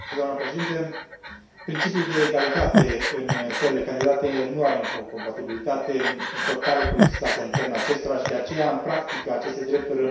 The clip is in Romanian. Principiul de egalitate în țările candidate nu are încă o compatibilitate totală cu legislația internă a acestora și, de aceea, în practică aceste drepturi rămân încă o necesitate.